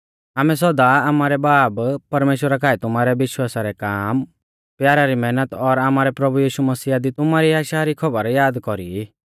आमै सौदा आमारै बाब परमेश्‍वरा काऐ तुमारै विश्वासा रै काम प्यारा री मैहनत और आमारै प्रभु यीशु मसीहा दी तुमारी आशा री सौबर याद कौरी ई